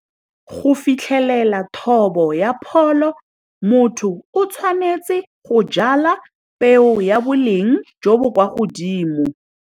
Go fitlhelela thobo ya pholo, motho o tshwanetse go jala peo ya boleng jo bo kwa godimo.